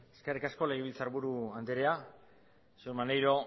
eskerrik asko legebiltzarburu andrea señor maneiro